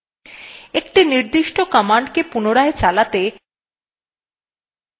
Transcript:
একটি নির্দিষ্ট command পুনরায় চালাতে